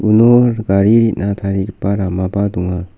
uno gari re·na tarigipa ramaba donga.